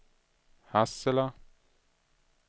Hassela